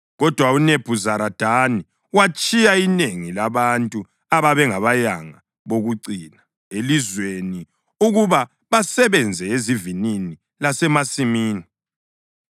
Kodwa uNebhuzaradani watshiya inengi labantu ababengabayanga bokucina elizweni ukuba basebenze ezivinini lasemasimini.